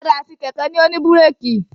Ọ̀kadà àti kẹ̀kẹ́ ni ó ní búrékì.